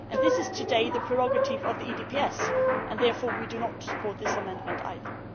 This is currently the prerogative of the EDPS, and therefore we do not support this amendment either.